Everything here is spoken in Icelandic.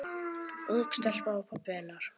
Ung stelpa og pabbi hennar.